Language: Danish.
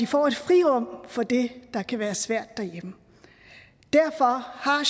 få et frirum fra det der kan være svært derhjemme derfor har